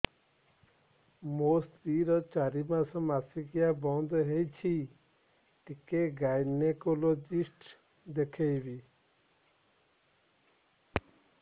ମୋ ସ୍ତ୍ରୀ ର ଚାରି ମାସ ମାସିକିଆ ବନ୍ଦ ହେଇଛି ଟିକେ ଗାଇନେକୋଲୋଜିଷ୍ଟ ଦେଖେଇବି